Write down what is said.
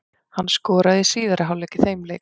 Hann skoraði í síðari hálfleik í þeim leik.